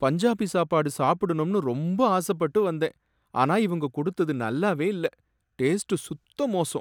பஞ்சாபி சாப்பாடு சாப்பிடணும்னு ரொம்ப ஆசப்பட்டு வந்தேன், ஆனா இவங்க கொடுத்தது நல்லாவே இல்ல, டேஸ்ட் சுத்த மோசம்